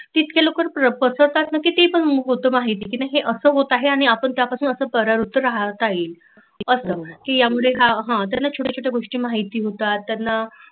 तितक्या लवकर पसरतात किती पण होतात त्यांना अस होत आहे आणि आपण त्यापासून अस पराव्रत्त राहता येइल कि ह्या मुळे हा छोट्या छोट्या गोष्टी माहिती होतात त्यांना